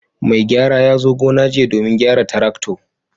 Mai gyara ya zo gona jiya domin gyara traktor.